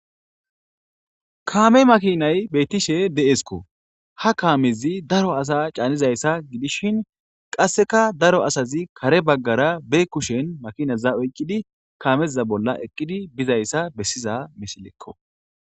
kaame makinay bettishe de'esikko ha kaamizi daro asa caanizayssa gidishshin qasseka daro asazi kare baggara be kushen makinaza oyqqidi kaameza bolla eqqidi bizayssa bessiza misilekko